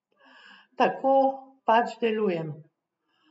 Tako pač delujem.